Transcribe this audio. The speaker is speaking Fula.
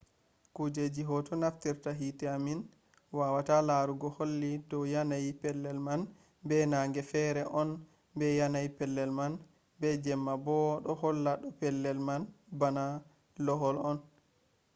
kuje hoto naftirta hite min wawata larugo holli dow yanayi pellel man be nange fere on be yanayi pellel man be jemma bo ɗo holla ɗo pellel man bana lohol on